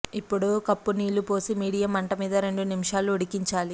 ఇప్పుడు కప్పు నీళ్లు పోసి మీడియం మంటమీద రెండు నిమిషాలు ఉడికించాలి